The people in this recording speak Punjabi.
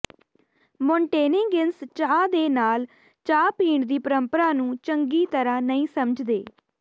ਮੋਂਟੇਨੇਗਿੰਸ ਚਾਹ ਦੇ ਨਾਲ ਚਾਹ ਪੀਣ ਦੀ ਪਰੰਪਰਾ ਨੂੰ ਚੰਗੀ ਤਰ੍ਹਾਂ ਨਹੀਂ ਸਮਝਦੇ